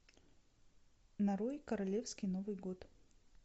нарой королевский новый год